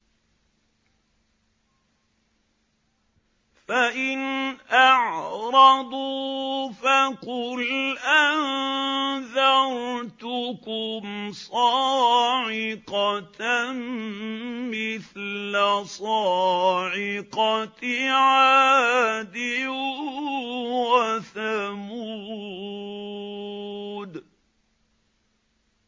فَإِنْ أَعْرَضُوا فَقُلْ أَنذَرْتُكُمْ صَاعِقَةً مِّثْلَ صَاعِقَةِ عَادٍ وَثَمُودَ